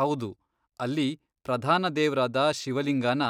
ಹೌದು, ಅಲ್ಲಿ ಪ್ರಧಾನ ದೇವ್ರಾದ ಶಿವಲಿಂಗನ